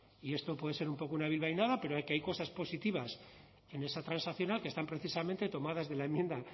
y esto puede ser un poco una bilbainada pero hay cosas positivas en esa transaccional que están precisamente tomadas de la enmienda